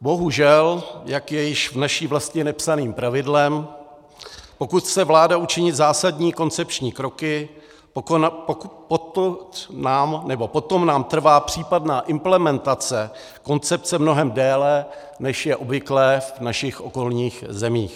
Bohužel, jak je již v naší vlasti nepsaným pravidlem, pokud chce vláda učinit zásadní koncepční kroky, potom nám trvá případná implementace koncepce mnohem déle, než je obvyklé v našich okolních zemích.